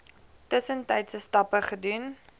tussentydse stappe gedoen